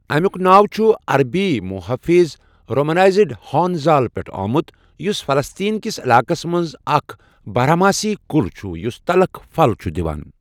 اَمیُک ناو چھ عربی محٲفظ رومنایزڈ ہان زال پیٹھٕ آمُت یُس فلسطین کِس علاقس مَنٛز اَکھ بارہماسی کل چھ یُس تلخ پھل چھُ دوان